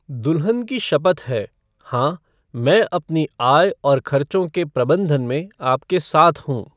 दुल्हन की शपथ है, हाँ, मैं अपनी आय और खर्चों के प्रबंधन में आपके साथ हूँ।